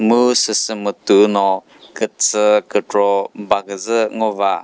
mu süsü mütuno kütsü kü baküzü ngova.